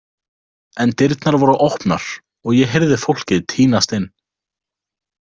En dyrnar voru opnar og ég heyrði fólkið tínast inn.